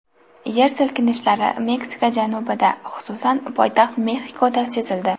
Yer silkinishlari Meksika janubida, xususan, poytaxt Mexikoda sezildi.